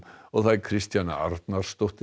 Kristjana Arnarsdóttir